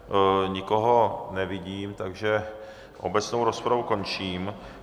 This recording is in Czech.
Nikoho nevidím, takž obecnou rozpravu končím.